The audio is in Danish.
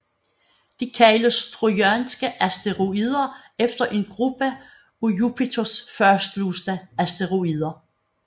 De kaldes trojanske asteroider efter en gruppe af Jupiters fastlåste asteroider